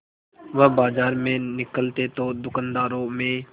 वह बाजार में निकलते तो दूकानदारों में